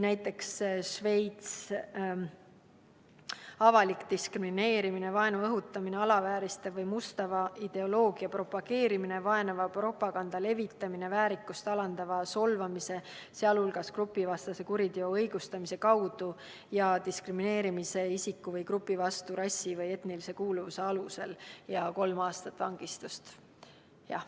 Näiteks Šveits: avalik diskrimineerimine, vaenu õhutamine, alavääristava või mustava ideoloogia propageerimine ja vaenava propaganda levitamine väärikust alandava solvamise, sealhulgas grupivastase kuriteo õigustamise kaudu ja isiku või grupi diskrimineerimise kaudu rassi või etnilise kuuluvuse alusel – kolm aastat vangistust.